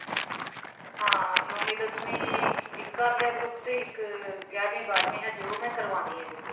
ਨੋਵੀਂ ਦਸਵੀਂ ਇੱਕ ਕਰ ਲਿਆ group ਤੇ ਇੱਕ ਗਿਆਰਵੀਂ ਬਾਰਵੀਂ ਉਹ ਹਜੇ ਮੈਂ ਕਰਵਾਉਣੀ ਹਾਂ visit